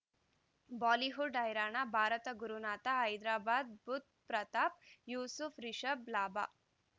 Bollywood ಹೈರಾಣ ಭಾರತ ಗುರುನಾಥ ಹೈದರಾಬಾದ್ ಬುಧ್ ಪ್ರತಾಪ್ ಯೂಸುಫ್ ರಿಷಬ್ ಲಾಭ